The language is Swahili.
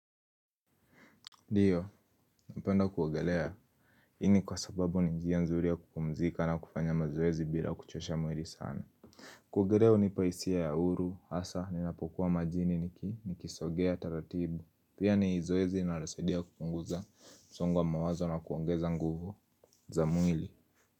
Ndio, napenda kuogelea. Hii ni kwa sababu ni njia nzuri ya kupumzika na kufanya mazoezi bila kuchosha mwili sana. Kuogelea hunipa hisia ya uru, hasa, ninapokuwa majini nikisogea taratibu. Pia ni zoezi inarosadia kupunguza, msongo wa mawazo na kuongeza nguvu za mwili.